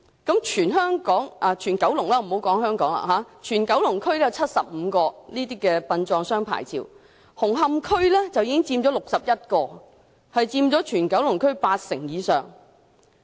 在九龍區已發出的75個殯葬商牌照當中，紅磡區便有61個，佔全九龍區八成以上。